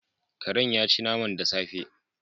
Karen yaci naman da safe